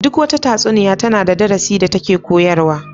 Duk wata tatsuniya tana da darasin da take koyarwa.